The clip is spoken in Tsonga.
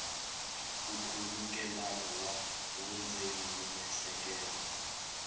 nkhulukelano wa vundzeni na miehleketo